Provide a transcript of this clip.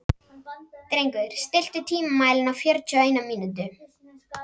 Drengur, stilltu tímamælinn á fjörutíu og eina mínútur.